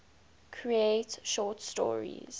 create short stories